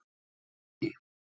Ferjuvogi